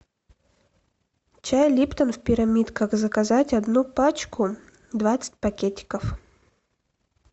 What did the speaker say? чай липтон в пирамидках заказать одну пачку двадцать пакетиков